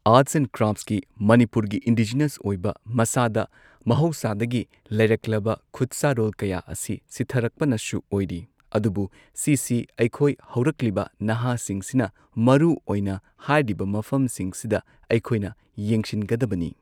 Arts and ꯀ꯭ꯔꯥꯐꯁꯀꯤ ꯃꯅꯤꯄꯨꯔꯒꯤ indigenous ꯑꯣꯏꯕ ꯃꯁꯥꯗ ꯃꯍꯧꯁꯥꯗꯒꯤ ꯂꯩꯔꯛꯂꯕ ꯈꯨꯠꯁꯥꯔꯣꯜ ꯀꯌꯥ ꯑꯁꯤ ꯁꯤꯊꯔꯛꯄꯅꯁꯨ ꯑꯣꯏꯔꯤ ꯑꯗꯨꯕꯨ ꯁꯤꯁꯤ ꯑꯩꯈꯣꯏ ꯍꯧꯔꯛꯂꯤꯕ ꯅꯍꯥꯁꯤꯡꯁꯤꯅ ꯃꯔꯨꯑꯣꯏꯅ ꯍꯥꯏꯔꯤꯕ ꯃꯐꯝꯁꯤꯡꯁꯤꯗ ꯑꯩꯈꯣꯏꯅ ꯌꯦꯡꯁꯤꯟꯒꯗꯕꯅꯤ ꯫